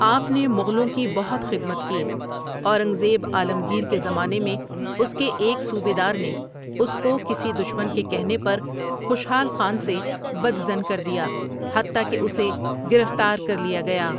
آپ نے مغلوں کی بہت خدمت کی اورنگزیب عالمگیر کے زمانے میں اس کے ایک صوبیدار نے اس کو کسی دشمن کے کہنے پر خوشحال خان سے بد ظن کر دیا حتٰی کہ اسے گرفتار کر لیا گیا ۔